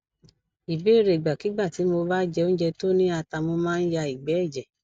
ìbéèrè ìgbàkigbà tí mo bá jẹ oúnjẹ tó ni ata mo ma n ya igbe eje